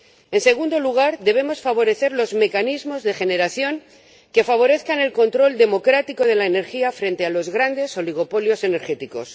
En segundo lugar, debemos favorecer los mecanismos de generación que favorezcan el control democrático de la energía frente a los grandes oligopolios energéticos.